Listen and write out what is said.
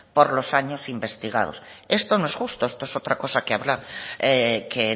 por los años investigados esto no es justo esto es otra cosa que habrá que